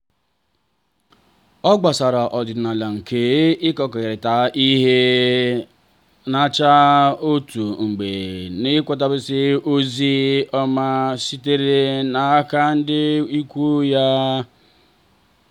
ọ gbasoro ọdịnala nke ịkekọrịta ihe nracha ụtọ mgbe ọ nwetasịrị ozi ọma sitere n'aka ndị ikwu ya.